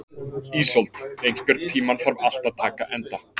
Ísold, einhvern tímann þarf allt að taka enda.